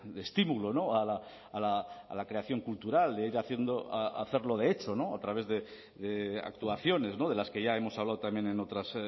de estímulo a la creación cultural de ir haciendo hacerlo de hecho a través de actuaciones de las que ya hemos hablado también en otras